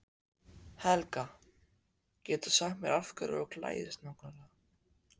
Helga: Getur þú sagt mér hverju þú klæðist nákvæmlega?